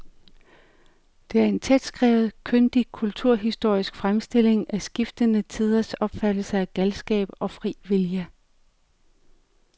Det er en tætskrevet, kyndig kulturhistorisk fremstilling af skiftende tiders opfattelse af galskab og fri vilje.